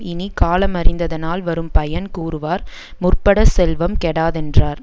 இனி காலமறிந்ததனால் வரும் பயன் கூறுவார் முற்படச் செல்வம் கெடாதென்றார்